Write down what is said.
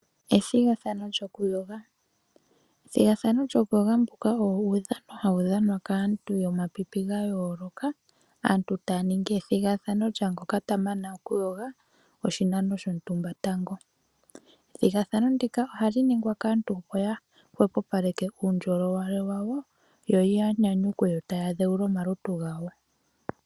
Ethigathano lyokuyoga. Ethigathano lyokuyoga olyo uudhano mboka hawu dhanwa kaantu yomapipi gayooloka aantu taya ningi ethigathano lyaa ngoka ta mana okuyoga oshinano shontumba tango. Ethigathano ndika ohali ningwa kaantu opo ya hwepopaleke po uundjolowele wawo yo ya nyanyukwe taya dhewula omalutu gawo.